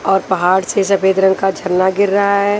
और पहाड़ से सफेद रंग का झरना गिर रहा है।